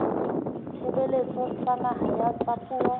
ditshebeletso tsa naha tsa puo